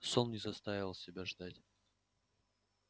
сон не заставил себя ждать